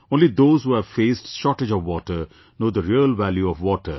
Only those who have faced shortage of water know the real value of water